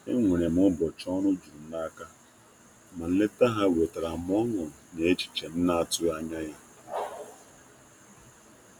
Enwere m ụbọchị ọrụ jurum n'aka, ma nleta ha wetara ọṅụ na echiche m na-atụghị anya ya.